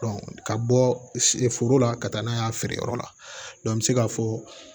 ka bɔ foro la ka taa n'a ye a feere yɔrɔ la an bɛ se ka fɔ